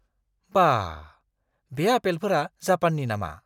बा..! बे आपेलफोरा जापाननि नामा?